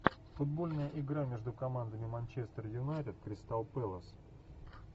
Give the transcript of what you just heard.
футбольная игра между командами манчестер юнайтед кристал пэлас